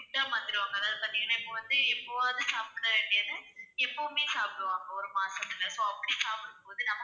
food ஆ மாத்திடுவாங்க அதாவது இப்போ வந்து எப்போவாவது சாப்பிடவேண்டியது, எப்பவுமே சாப்பிடுவாங்க ஒரு மாசத்துல so அப்படி சாப்பிடும் போது